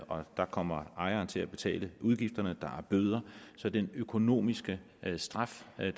og der kommer ejeren til at betale udgifterne og er bøder så den økonomiske straf er